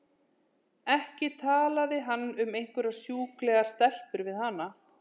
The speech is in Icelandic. Ekki talaði hann um einhverjar sjúklegar stelpur við hana!